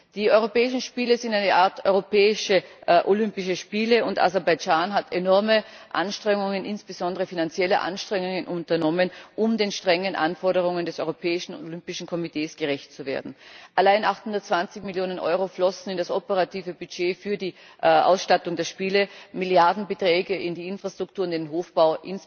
Die Europäischen Spiele sind eine Art europäische Olympische Spiele, und Aserbaidschan hat enorme Anstrengungen insbesondere finanzielle Anstrengungen unternommen, um den strengen Anforderungen des Europäischen Olympischen Kommitees gerecht zu werden. Allein 820 Millionen Euro flossen in das operative Budget für die Ausstattung der Spiele, Milliardenbeträge in die Infrastruktur, insbesondere in den Hochbau,